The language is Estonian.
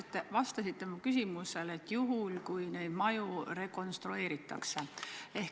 Te vastasite minu küsimusele, et juhul, kui neid maju rekonstrueeritakse.